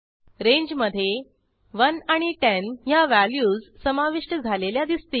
रेंजमधे 1 आणि 10 ह्या व्हॅल्यूज समाविष्ट झालेल्या दिसतील